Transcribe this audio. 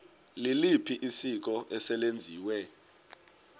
liliphi isiko eselenziwe